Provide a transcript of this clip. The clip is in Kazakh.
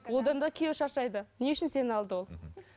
одан да күйеу шаршайды не үшін сені алды ол